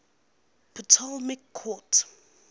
ptolemaic court